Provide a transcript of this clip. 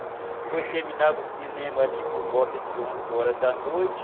Depois terminava o cinema ali por volta de onze horas da noite.